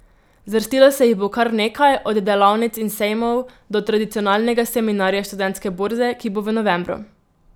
Zvrstilo se jih bo kar nekaj, od delavnic in sejmov do tradicionalnega Seminarja Študentske borze, ki bo v novembru.